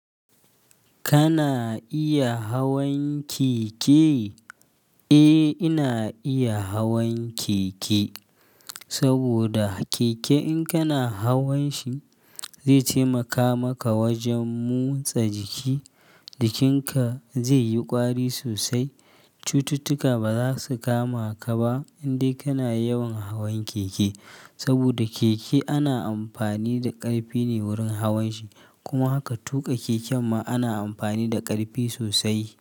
Kana iya hawan keke? Eh, ina iya hawan keke. Saboda keke in kana hawan shi zai taimaka maka wajen motsa jiki, jikinka zai yi ƙwari sosai. Cututtuka baza su kama ka ba in dai kana yawan hawan keke. Saboda keke ana amfani da ƙarfe ne wurin hawan shi, kuma haka tuƙa keken ma ana amfani da ƙarfe sosai.